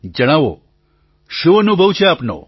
જણાવો શું અનુભવ છે આપનો